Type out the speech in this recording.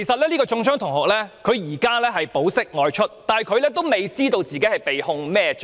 中槍的同學已經保釋外出，但他還未知道被控甚麼罪名。